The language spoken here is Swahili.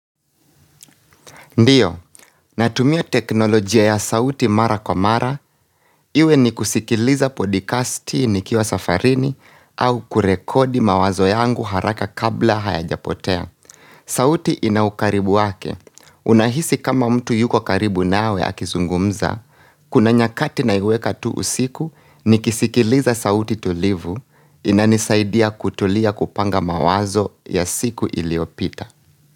Ndio, natumia teknolojia ya sauti mara kwa mara, iwe ni kusikiliza podikasti ni kiwa safarini au kurekodi mawazo yangu haraka kabla hayaja potea. Sauti ina ukaribu wake, unahisi kama mtu yuko karibu nawe akizungumza, kuna nyakati naiweka tu usiku nikisikiliza sauti tulivu inanisaidia kutulia kupanga mawazo ya siku iliopita.